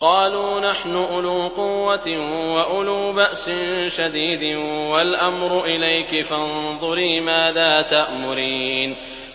قَالُوا نَحْنُ أُولُو قُوَّةٍ وَأُولُو بَأْسٍ شَدِيدٍ وَالْأَمْرُ إِلَيْكِ فَانظُرِي مَاذَا تَأْمُرِينَ